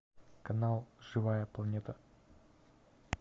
канал живая планета